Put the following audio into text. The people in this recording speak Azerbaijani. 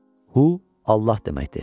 “Hu” Allah deməkdir.